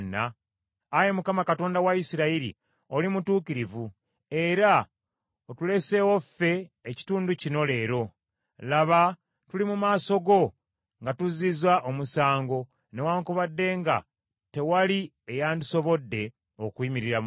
Ayi Mukama Katonda wa Isirayiri oli mutuukirivu, era otuleseewo ffe ekitundu kino leero. Laba tuli mu maaso go nga tuzzizza omusango, newaakubadde nga tewali eyandisobodde okuyimirira mu maaso go.”